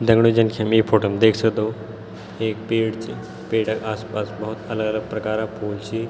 दगड़ियों जन की हम यी फोटो मा देख सक्दो एक पेड़ च पेड़ क आस-पास भोत अलग-अलग प्रकारा फूल छी।